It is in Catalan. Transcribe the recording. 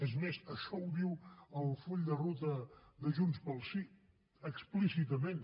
és més això ho diu el full de ruta de junts pel sí explícitament